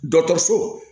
Dɔkɔtɔrɔso